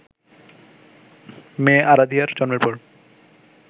মেয়ে আরাধিয়ার জন্মের পর